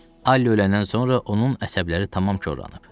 Alli öləndən sonra onun əsəbləri tamam korlanıb.